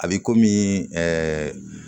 A bɛ komi